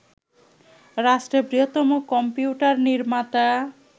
রাষ্ট্রের বৃহত্তম কম্পিউটার নির্মাতা